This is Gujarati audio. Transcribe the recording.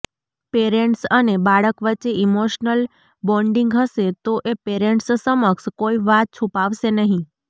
પેરેન્ટ્સ અને બાળક વચ્ચે ઈમોશનલ બોન્ડીંગ હશે તો એ પેરેન્ટ્સ સમક્ષ કોઈ વાત છુપાવશે નહીં